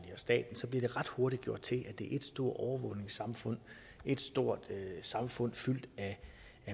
staten bliver det ret hurtigt gjort til at det er et stort overvågningssamfund et stort samfund fyldt af